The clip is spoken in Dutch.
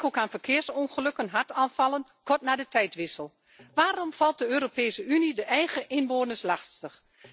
Denk ook aan verkeersongelukken en hartaanvallen kort na de tijdwissel. Waarom valt de Europese Unie de eigen inwoners lastig?